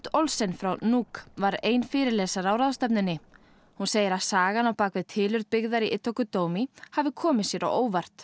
Olsen frá Nuuk var ein fyrirlesara á ráðstefnunni hún segir að sagan á bak við tilurð byggðar í hafi komið sér á óvart